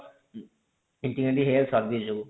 integrating health service ଯୋଗୁ